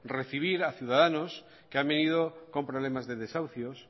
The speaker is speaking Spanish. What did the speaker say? recibir a ciudadanos que han venido con problemas de desahucios